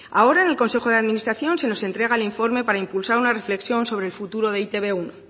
ahora en el consejo de administración se nos entrega un informe para impulsar una reflexión sobre el futuro de e te be uno